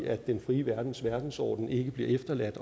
at den frie verdens verdensorden ikke bliver efterladt